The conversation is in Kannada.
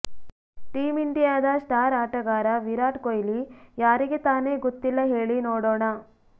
ಟೀಮ್ ಇಂಡಿಯಾದ ಸ್ಟಾರ್ ಆಟಗಾರ ವಿರಾಟ್ ಕೊಹ್ಲಿ ಯಾರಿಗೆ ತಾನೇ ಗೊತ್ತಿಲ್ಲ ಹೇಳಿ ನೋಡೋಣ